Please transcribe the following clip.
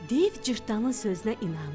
Div Cırtdanın sözünə inandı.